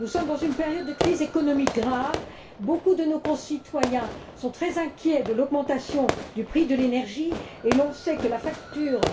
Nous sommes dans une période de crise économique grave beaucoup de nos concitoyens sont très inquiets de l'augmentation du prix de l'énergie et l'on sait que la facture